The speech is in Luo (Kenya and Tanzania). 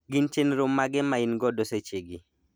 gin chenro mage maingodo seche gi